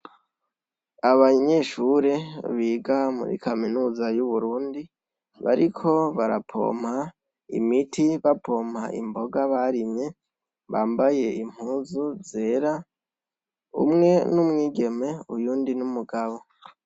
Abanyeshure biga muri kaminuza yu Burundi , bariko barapomp' imiti, bapomp' imboga barimye, bambay' impuzu zera, umwe n' umwigeme uyundi n' umugabo.